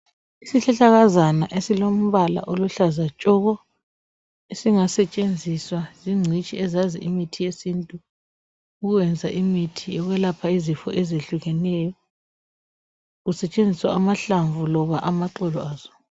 Isihlahlakazana esilombala oluhlaza tshoko esingasetshenziswa zingcitshi ezazi imithi yesintu, ukwenza imithi yokwelapha izifo ezehlukeneyo, usetshenziswa amahlamvu loba amaxolo aso.